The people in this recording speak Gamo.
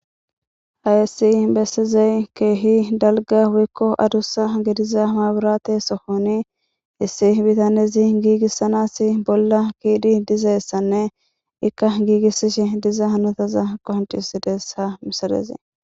Hayessi bessizey keehi dalga wikko adussa gediza maaburate sohoni issi bitanezi giigissanassi bolla kiidi dizayessanne ikka giigissishe diza hanotaza qonciusidesha misalezee.